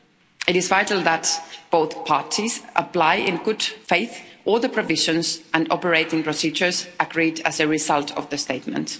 It is vital that both parties apply in good faith all the provisions and operating procedures agreed as a result of the statement.